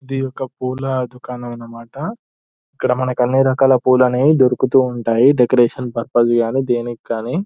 ఇదొక పులా దుకాణం అనమాట ఎక్కడ మనకు అన్ని రకాల పూలు అనేవి దొరుకుతూ ఉంటాయి డెకరేషన్ పర్పస్ గాని దేనికీ గాని.